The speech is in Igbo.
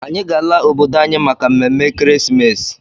Anyị ga-ala obodo anyị maka mmemme ekeresimesi.